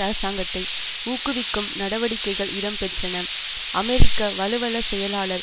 அரசாங்கத்தை ஊக்குவிக்கும் நடவடிக்கைகள் இடம் பெற்றன அமெரிக்க வலுவள செயலாளர்